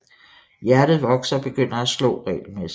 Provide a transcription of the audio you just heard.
Hjertet vokser og begynder at slå regelmæssigt